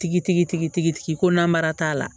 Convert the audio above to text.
Tigi tigi ko namara t'a la